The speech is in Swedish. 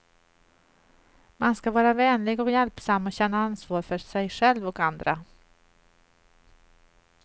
Man ska vara vänlig och hjälpsam och känna ansvar för sig själv och andra.